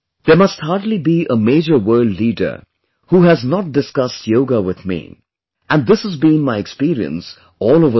There must hardly be a major world leader who has not discussed yoga with me and this has been my experience all over the world